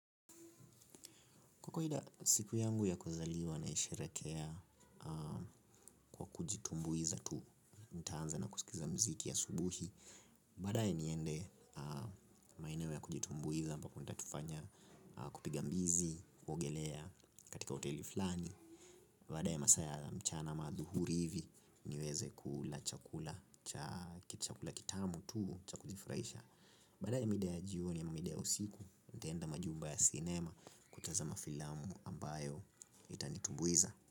Kwa kawaida siku yangu ya kuzaliwa naisherehekea kwa kujitumbuiza tu. Nitaanza na kusikiza muziki ya asubuhi. Baadaye niende maeneo ya kujitumbuiza ambapo ntaenda kufanya kupiga mbizi, kuogelea katika hoteli fulani. Baadaye masaa ya mchana ama adhuhuri hivi niweze kula chakula kitamu tu cha kujifurahisha. Baada ya mida ya jioni ama mida ya usiku, ntaenda majumba ya cinema kutazama filamu ambayo itanitumbuiza.